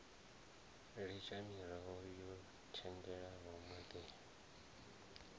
litsha miroho yo tshetshelwaho maḓini